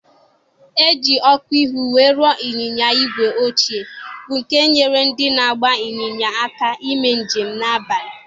E ji ọkụ ihu wee ruo ịnyịnya ígwè ochie, bụ́ nke nyeere ndị na-agba ịnyịnya aka ime njem n'abalị.